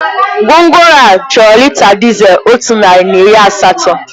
Gwongworo a chọrọ lita dizel otu narị na iri asatọ.